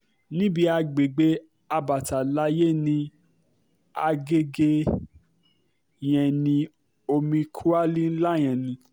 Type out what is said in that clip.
níbi àgbègbè abatalaye ní agege yẹn ni o omi kọ́àlì ńlá yẹn ni